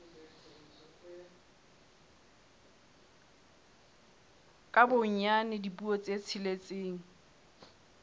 ka bonyane dipuo tse tsheletseng